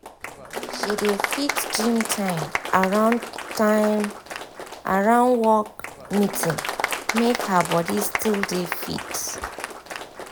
she dey fix gym time around time around work meeting make her body still dey fit.